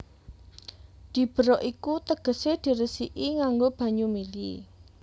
Diberok iku tegesé diresiki nganggo banyu mili